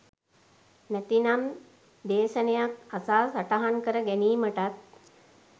නැතිනම් දේශනයක් අසා සටහන් කර ගැනීමටත්